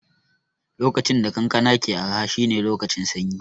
Lokacin da kankana ke araha shine lokacin sanyi